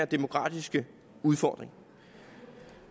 demografiske udfordring